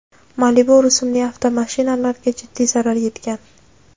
Malibu rusumli avtomashinalarga jiddiy zarar yetgan.